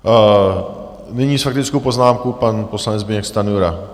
Nyní faktickou poznámku pan poslanec Zbyněk Stanjura.